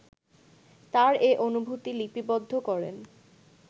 তার এ অনুভূতি লিপিবদ্ধ করেন